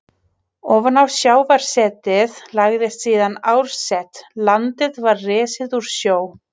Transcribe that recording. Ofan á sjávarsetið lagðist síðan árset, landið var risið úr sjó.